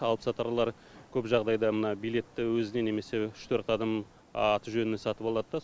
алыпсатарлар көп жағдайда мына билетті өзіне немесе үш төрт адам аты жөнімен сатып алады да